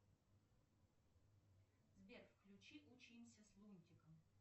сбер включи учимся с лунтиком